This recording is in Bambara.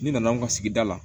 Ni nana anw ka sigida la